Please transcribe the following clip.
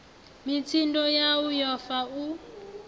mitsindo yau yo fa u